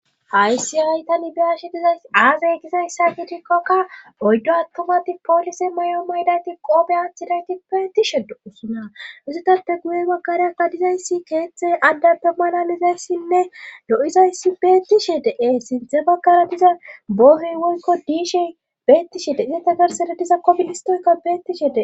Haysi ayta nibiyashi diza aazay gizayssa giidikkokka oyddo attumati poolise may7o maydayti qoobe aachirayti peetishe do usuna usitappe guye bakariyakka dizaysi keeththey addappe manalizayssinne lo7izayssi bettishe dee sinthe bakara diza boohey woykko diishey bettishe deine tagarsede diza koministoykka bettishe dee.